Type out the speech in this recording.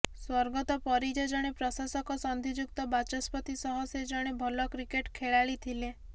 ସ୍ୱର୍ଗତ ପରିଜା ଜଣେ ପ୍ରଶାସକ ସନ୍ଧିଯୁକ୍ତ ବାଚସ୍ପତି ସହ ସେ ଜଣେ ଭଲ କ୍ରିକେଟ ଖେଳାଳୀ ଥିଲେ